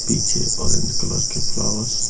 पीछे orange colour के flowers --